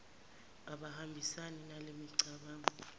abahambisani nale micabango